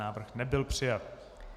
Návrh nebyl přijat.